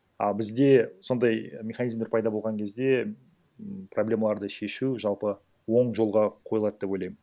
а бізде сондай механизмдар пайда болған кезде м проблемаларды шешу жалпы оң жолға қойылады деп ойлаймын